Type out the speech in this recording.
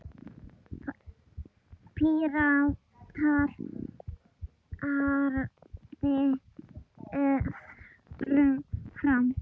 Píratar haldi öðru fram.